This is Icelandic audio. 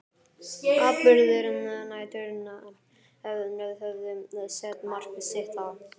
Atburðir næturinnar höfðu sett mark sitt á